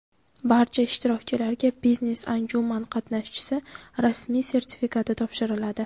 Barcha ishtirokchilarga biznes-anjuman qatnashchisi rasmiy sertifikati topshiriladi.